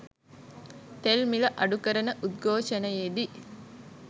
තෙල් මිල අඩු කරන උද්ඝෝෂණයේදී